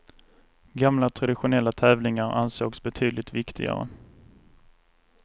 Gamla traditionella tävlingar ansågs betydligt viktigare.